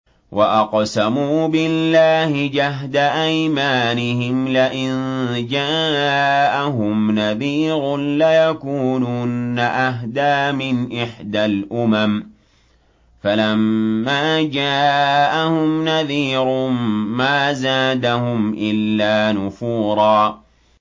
وَأَقْسَمُوا بِاللَّهِ جَهْدَ أَيْمَانِهِمْ لَئِن جَاءَهُمْ نَذِيرٌ لَّيَكُونُنَّ أَهْدَىٰ مِنْ إِحْدَى الْأُمَمِ ۖ فَلَمَّا جَاءَهُمْ نَذِيرٌ مَّا زَادَهُمْ إِلَّا نُفُورًا